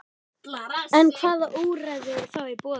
En hvaða úrræði eru þá í boði?